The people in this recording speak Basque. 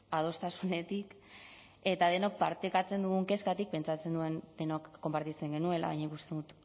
adostasunetik eta denok partekatzen dugun kezkatik pentsatzen nuen denok konpartitzen genuela baina ikusten dut